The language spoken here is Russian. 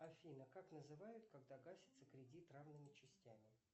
афина как называют когда гасится кредит равными частями